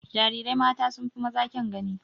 Jarirai mata sun fi maza kyan gani.